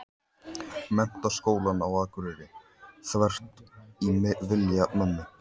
Menntaskólann á Akureyri, þvert ofan í vilja mömmu.